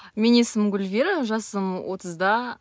менің есімім гүлвира жасым отызда